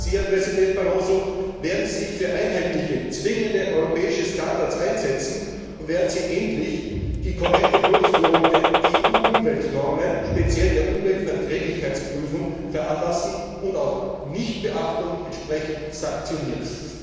Daher frage ich Sie, Herr Präsident Barroso Werden Sie sich für einheitliche, zwingende europäische Standards einsetzen, und werden Sie endlich die korrekte Durchführung der EU Umweltnormen, speziell der Umweltverträglichkeitsprüfung, veranlassen und auch Nichtbeachtung entsprechend sanktionieren?